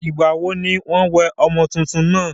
ìgbà wo ní wọ́n wẹ ọmọ túntún náà?